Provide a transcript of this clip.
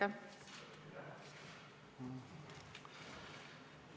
Aitäh!